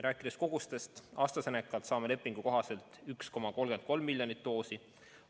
Rääkides kogustest, siis AstraZenecalt saame lepingu kohaselt 1,33 miljonit doosi.